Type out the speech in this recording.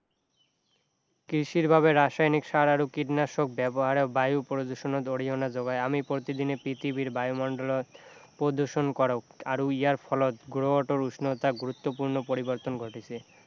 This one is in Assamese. কৃষিৰ বাবে ৰাসায়নিক সাৰ আৰু কীটনাশক ব্যৱহাৰেওঁ বায়ু প্ৰদূষণত অৰিহণা যোগাই আমি প্ৰতিদিনে পৃথিৱীৰ বায়ুমণ্ডলত প্ৰদূষণ কৰোঁ আৰু ইয়াৰ ফলত গ্ৰহটোত উষ্ণতা গুৰুত্বপূৰ্ণ পৰিৱৰ্তন ঘটিছে